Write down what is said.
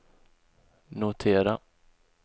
notera